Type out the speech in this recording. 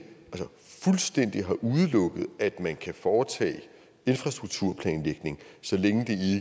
fuldstændig har udelukket at man kan foretage infrastrukturplanlægning så længe